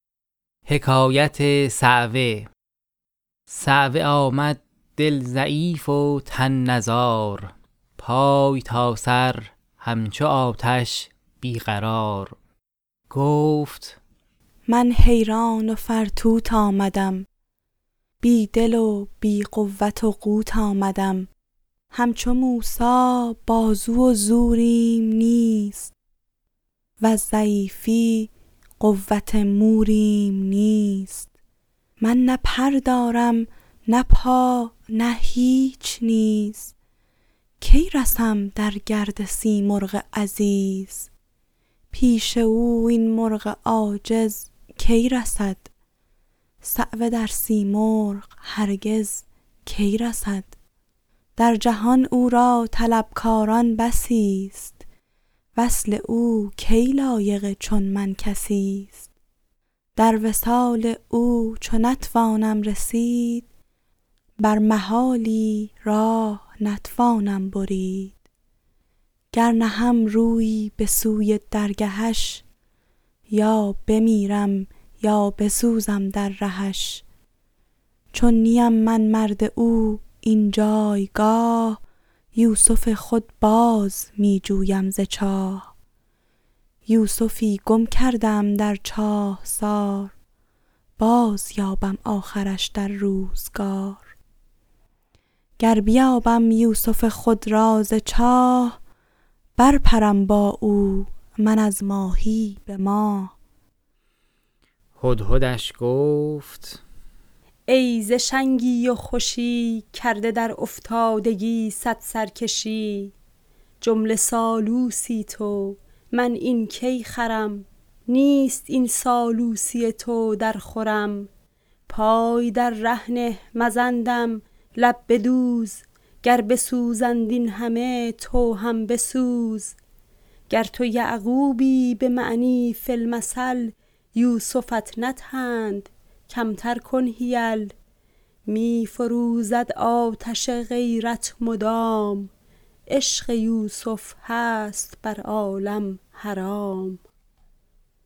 صعوه آمد دل ضعیف و تن نزار پای تا سر همچو آتش بی قرار گفت من حیران و فرتوت آمدم بی دل و بی قوت و قوت آمدم همچو موسی بازو و زوریم نیست وز ضعیفی قوت موریم نیست من نه پر دارم نه پا نه هیچ نیز کی رسم در گرد سیمرغ عزیز پیش او این مرغ عاجز کی رسد صعوه در سیمرغ هرگز کی رسد در جهان او را طلب کاران بسی ست وصل او کی لایق چون من کسی ست در وصال او چو نتوانم رسید بر محالی راه نتوانم برید گر نهم رویی به سوی درگهش یا بمیرم یا بسوزم در رهش چون نیم من مرد او این جایگاه یوسف خود باز می جویم ز چاه یوسفی گم کرده ام در چاهسار بازیابم آخرش در روزگار گر بیابم یوسف خود را ز چاه بر پرم با او من از ماهی به ماه هدهدش گفت ای ز شنگی و خوشی کرده در افتادگی صد سرکشی جمله سالوسی تو من این کی خرم نیست این سالوسی تو درخورم پای در ره نه مزن دم لب بدوز گر بسوزند این همه تو هم بسوز گر تو یعقوبی به معنی فی المثل یوسفت ندهند کمتر کن حیل می فروزد آتش غیرت مدام عشق یوسف هست بر عالم حرام